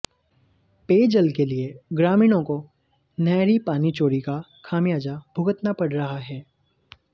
पेयजल के लिए ग्रामीणों को नहरी पानी चोरी का खमियाजा भुगतना पड़ रहा है